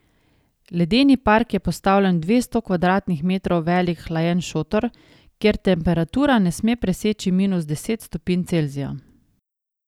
Ledeni park je postavljen v dvesto kvadratnih metrov velik hlajen šotor, kjer temperatura ne sme preseči minus deset stopinj Celzija.